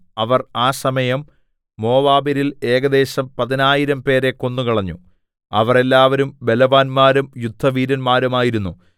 അവർ ആ സമയം മോവാബ്യരിൽ ഏകദേശം പതിനായിരംപേരെ കൊന്നുകളഞ്ഞു അവർ എല്ലാവരും ബലവാന്മാരും യുദ്ധവീരന്മാരും ആയിരുന്നു